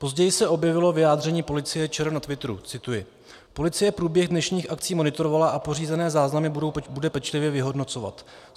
Později se objevilo vyjádření Policie ČR na twitteru - cituji: Policie průběh dnešních akcí monitorovala a pořízené záznamy bude pečlivě vyhodnocovat.